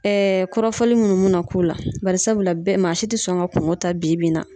kɔrɔfɔli munnu me na k'u la .Barisabula bɛɛ, maa si te sɔn ka kungo ta bi bi in na.